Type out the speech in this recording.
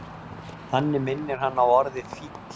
þannig minnir hann á orðið fíll